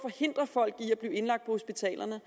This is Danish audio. og forhindre folk i at blive indlagt på hospitalerne